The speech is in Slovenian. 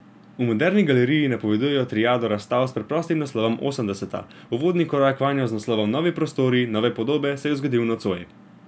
V Moderni galeriji napovedujejo triado razstav s preprostim naslovom Osemdeseta, uvodni korak vanjo z naslovom Novi prostori, nove podobe se je zgodil nocoj.